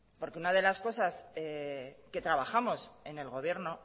una de las cosas que trabajamos en el gobierno